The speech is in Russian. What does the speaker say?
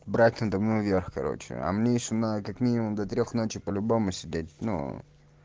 брат надо мной верх короче а мне ещё надо как минимум до трёх ночи по-любому сидеть ну